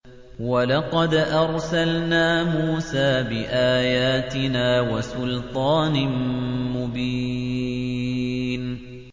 وَلَقَدْ أَرْسَلْنَا مُوسَىٰ بِآيَاتِنَا وَسُلْطَانٍ مُّبِينٍ